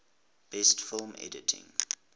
best film editing